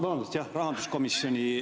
Vabandust, jah, rahanduskomisjoni esimehe.